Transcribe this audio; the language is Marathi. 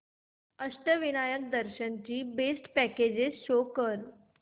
अष्टविनायक दर्शन ची बेस्ट पॅकेजेस शो कर